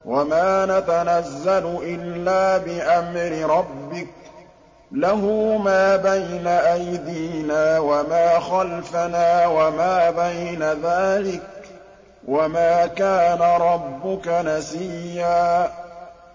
وَمَا نَتَنَزَّلُ إِلَّا بِأَمْرِ رَبِّكَ ۖ لَهُ مَا بَيْنَ أَيْدِينَا وَمَا خَلْفَنَا وَمَا بَيْنَ ذَٰلِكَ ۚ وَمَا كَانَ رَبُّكَ نَسِيًّا